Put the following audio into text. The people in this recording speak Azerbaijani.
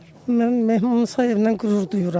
Mən Mehman Musayevlə qürur duyuram.